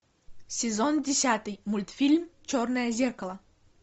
сезон десятый мультфильм черное зеркало